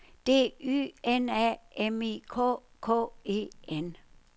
D Y N A M I K K E N